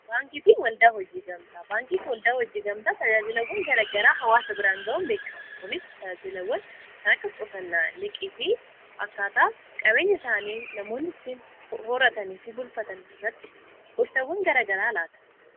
baankii fi waldaa hojiigamtaa baankiifi waldaa hojii gamtaa tajaajilawwan garagaraa hawaasa biraan ga'uun beekamu kunis tajaajilawwan kan akka qusannaa liqii fi akkaataa qabeenya isaanii namoonni ittiin horatanii fi bulfatan irratti gorsawwan garagaraa laata